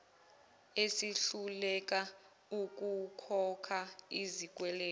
esihluleka ukukhokha izikweletu